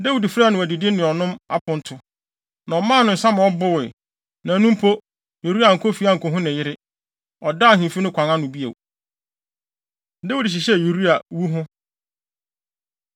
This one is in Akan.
Na Dawid frɛɛ no adidi ne ɔnom aponto, na ɔmaa no nsa ma ɔbowee. Na ɛno mpo, Uria ankɔ fie ankohu ne yere. Ɔdaa ahemfi no kwan ano bio. Dawid Hyehyɛ Uria Wu Ho